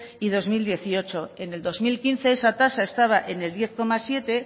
y dos mil dieciocho en el dos mil quince esa tasa estaba en el diez coma siete